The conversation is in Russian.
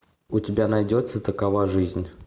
у тебя найдется такова жизнь